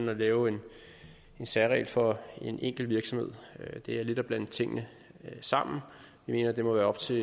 og lave en særregel for en enkelt virksomhed det er lidt at blande tingene sammen vi mener at det må være op til